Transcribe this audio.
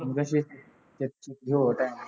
ਚੰਗਾ ਫੇਰ ਕਿਸੇ ਹੋਰ time